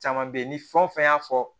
Caman be ye ni fɛn o fɛn y'a fɔ